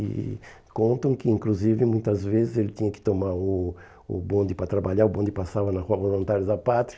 E contam que, inclusive, muitas vezes ele tinha que tomar o o bonde para trabalhar, o bonde passava na Rua Voluntários da Pátria.